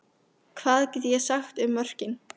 Hvað get ég sagt um mörkin?